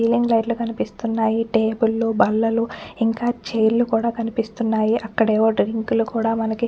Ceiling light లు కనిస్తున్నాయి. Table లు బల్లలు ఇంకా చైర్ లు కూడా కనిపిస్తున్నాయి. అక్కడేవో డ్రింకు లు కూడా మనకి--